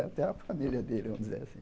Até a família dele, vamos dizer assim.